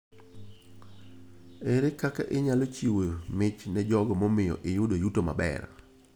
Ere kaka inyalo chiwo mich ne jogo mamiyo iyudo yuto maber?